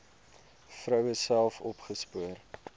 vroue self opgespoor